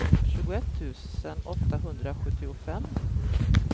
tjugoett tusen åttahundrasjuttiofem